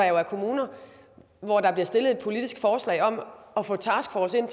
er der kommuner hvor der er blevet stillet et politisk forslag om at få taskforcen